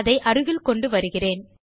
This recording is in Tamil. அதை அருகில் கொண்டு வருகிறேன்